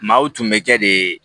Maaw tun bɛ kɛ de